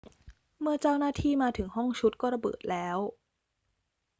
เมื่อเจ้าหน้าที่มาถึงห้องชุดก็ระเบิดแล้ว